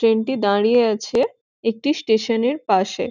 ট্রেনটি দাঁড়িয়ে আছে একটি স্টেশনের পাশে।